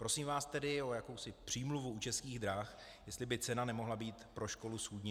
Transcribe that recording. Prosím vás tedy o jakousi přímluvu u Českých drah, jestli by cena nemohla být pro školu schůdnější.